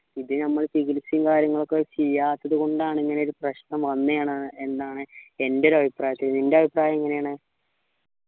ഇത് നമ്മൾ ചികിത്സയും കാര്യങ്ങളും ഒക്കെ ചെയ്യാത്തത് കൊണ്ടാണ് ഇങ്ങനെയൊരു പ്രശ്നം വന്നേ എന്നാണ് എൻറെ ഒരു അഭിപ്രായത്തിൽ നിൻറെ അഭിപ്രായം എങ്ങനെയാണ്